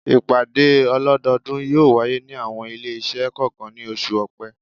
Ìpàdé ọlọ́dọ́ọdún yóò wáyé ní àwọn ilé-iṣẹ́ kọ̀ọ̀kan ní oṣù Ọ̀pẹ.